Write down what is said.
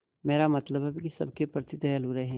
मेरा मतलब है कि सबके प्रति दयालु रहें